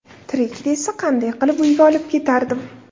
Tirik desa, qanday qilib uyga olib ketardim?!